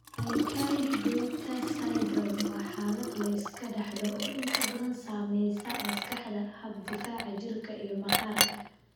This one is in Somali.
Aicardi Goutieres syndrome waa xaalad la iska dhaxlo oo inta badan saameeya maskaxda, habka difaaca jirka, iyo maqaarka.